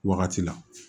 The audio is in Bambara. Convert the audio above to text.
Wagati la